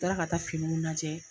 Taara ka taa finiw lajɛ